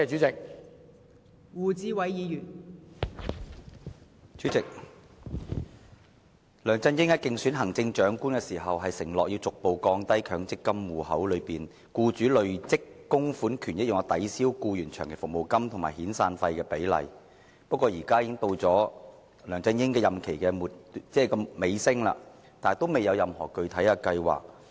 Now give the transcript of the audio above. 代理主席，梁振英在競選行政長官時，曾承諾逐步降低強制性公積金戶口內僱主累積供款權益用作抵銷僱員長期服務金及遣散費的比例，但梁振英的任期現已接近尾聲，卻仍未有任何具體計劃。